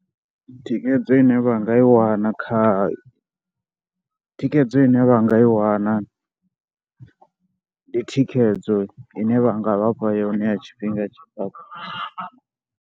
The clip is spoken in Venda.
Thikhedzo ine vha nga i wana kha, thikhedzo ine vha nga i wana ndi thikhedzo ine vha nga vha fha yone ya tshifhinga.